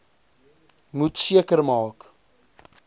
moet seker maak